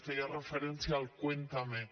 feia referència al cuéntalo